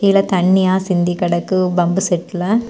கீழ தண்ணியா சிந்தி கிடக்கு பம்பு செட்டில .